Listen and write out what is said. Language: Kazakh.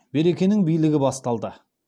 беркенің билігі басталды